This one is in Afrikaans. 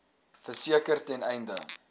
verseker ten einde